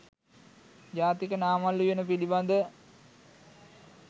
ජාතික නාමල් උයන පිළිබඳ